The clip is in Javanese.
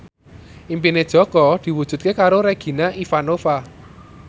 impine Jaka diwujudke karo Regina Ivanova